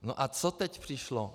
No a co teď přišlo?